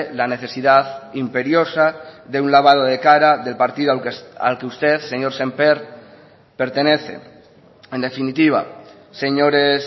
la necesidad imperiosa de un lavado de cara del partido al que usted señor sémper pertenece en definitiva señores